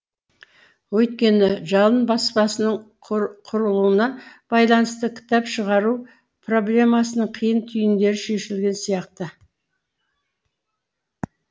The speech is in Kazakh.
өйткені жалын баспасының құрылуына байланысты кітап шығару проблемасының қиын түйіндері шешілген сияқты